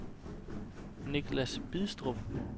Nicklas Bidstrup